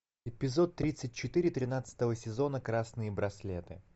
эпизод тридцать четыре тринадцатого сезона красные браслеты